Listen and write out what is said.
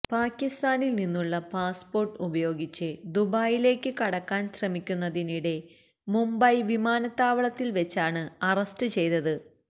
പാകിസ്ഥാനിൽ നിന്നുള്ള പാസ്പോർട്ട് ഉപയോഗിച്ച് ദുബായിലേക്ക് കടക്കാൻ ശ്രമിക്കുന്നതിനിടെ മുംബൈ വിമാനത്താവള്തതിൽ വെച്ചാണ് അറസ്റ്റ് ചെയ്തത്